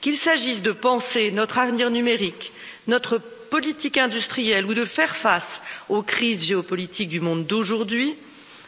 Qu'il s'agisse de penser notre avenir numérique, notre politique industrielle ou de faire face aux crises géopolitiques du monde d'aujourd'hui,